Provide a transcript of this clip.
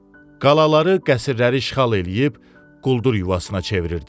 Qalaları, qəsrləri işğal eləyib quldur yuvasına çevirirdilər.